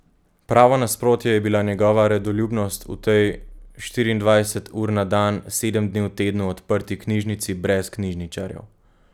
Pravo nasprotje je bila njegova redoljubnost v tej štiriindvajset ur na dan, sedem dni v tednu odprti knjižnici brez knjižničarjev.